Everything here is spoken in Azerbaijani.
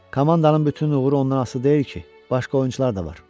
Komandanın bütün uğuru ondan asılı deyil ki, başqa oyunçular da var.